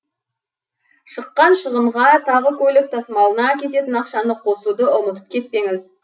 шыққан шығынға тағы көлік тасымалына кететін ақшаны қосуды ұмытып кетпеңіз